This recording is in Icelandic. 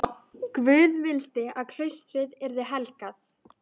Guð vildi að klaustrið yrði helgað.